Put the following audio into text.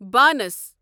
بانس